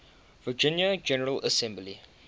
virginia general assembly